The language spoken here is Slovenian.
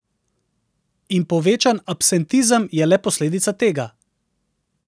In povečan absentizem je le posledica tega.